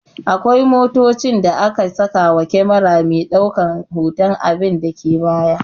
Akwai motocin da aka saka wa kyamera me daukan hotan abinda ke baya